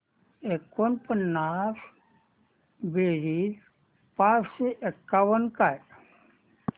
एकोणपन्नास बेरीज चारशे एकावन्न काय